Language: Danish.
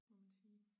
Må man sige